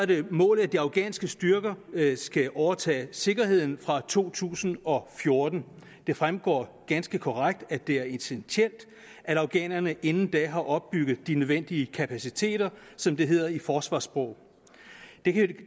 det målet at de afghanske styrker skal overtage sikkerheden fra to tusind og fjorten det fremgår ganske rigtigt at det er essentielt at afghanerne inden da har opbygget de nødvendige kapaciteter som det hedder i forsvarssprog